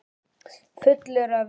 Fullur af vindi.